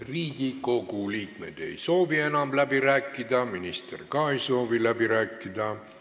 Riigikogu liikmed ei soovi enam läbi rääkida, minister ka ei soovi läbi rääkida.